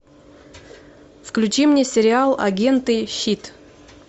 включи мне сериал агенты щит